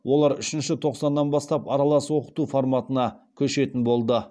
олар үшінші тоқсаннан бастап аралас оқыту форматына көшетін болды